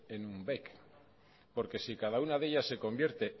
en un bec porque si cada una de ella se convierte